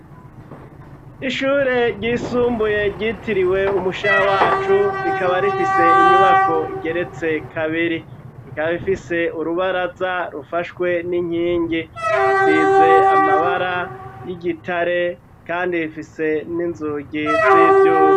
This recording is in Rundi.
Ishure ryisumbuye ryitiriwe umushaha wacu, rikaba rifise inyubako igeretse kabiri rikaba ifise urubaraza rufashwe n'inkingi isize amabara y'igitare, kandi rifise n'inzugi z'ivyuba.